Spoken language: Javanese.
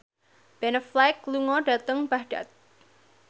Ben Affleck lunga dhateng Baghdad